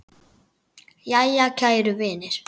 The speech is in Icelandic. Jæja, kæru vinir.